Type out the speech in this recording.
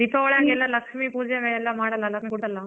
ದೀಪಾವಳಿಗೆಲ್ಲ ಲಕ್ಷ್ಮಿ ಪೂಜೆ ಎಲ್ಲ ಮಾಡಲ್ಲ ಅಲ್ಲ .